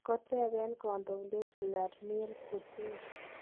Koteben kondoindet Vladimir Putin.